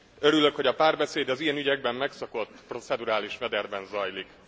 Örülök, hogy a párbeszéd az ilyen ügyekben megszokott, procedurális mederben zajlik.